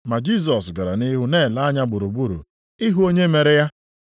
Ma Jisọs gara nʼihu na-ele anya gburugburu ịhụ onye mere ya.